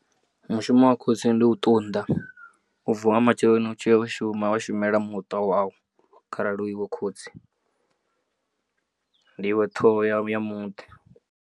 Mushumo wa khotsi ndi u ṱunda u vuwa nga matsheloni u tshiya u shuma wa shumela muṱa wau kharali hu iwe khotsi ndi iwe ṱhoho ya muḓi.